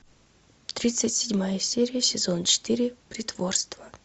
тридцать седьмая серия сезон четыре притворство